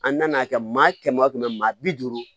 An nan'a kɛ maa kɛmɛ o kɛmɛ maa bi duuru